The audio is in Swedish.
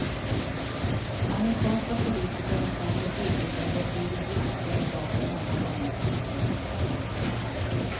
Amerikanska politiker har säkert ljugit om betydligt viktigare saker många gånger tidigare.